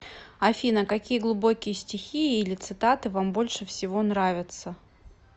афина какие глубокие стихи или цитаты вам больше всего нравятся